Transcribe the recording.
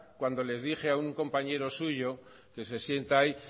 cuando le dije a un compañero suyo que se sienta ahí